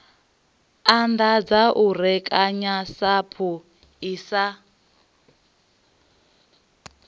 anḓadza u rekanya sapu asi